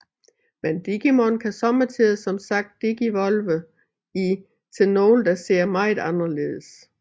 Men Digimon kan sommetider som sagt Digivolve i til nogle der ser meget anderledes